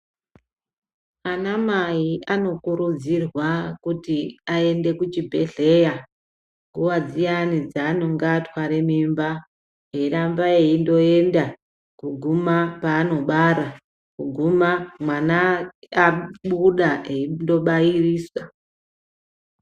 Ana mai anokurudzirwa kuti ayende kuchibhedhleya, nguwa dziyana dzaanonga atware mimba, eyiramba eyindoyenda kuguma paanobara, kuguma mwana abuda eyindobayirisa.